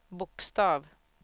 bokstav